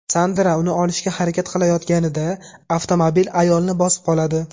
Sandra uni olishga harakat qilayotganida avtomobil ayolni bosib qoladi.